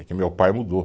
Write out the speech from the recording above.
É que meu pai mudou.